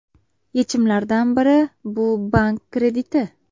Yechimlardan biri bu bank krediti.